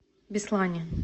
беслане